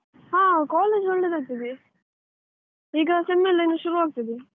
ಹ college ಒಳ್ಳೆದಾಗ್ತಾದೆ ಈಗ sem ಎಲ್ಲ ಇನ್ನು ಶುರು ಆಗ್ತಾದೆ.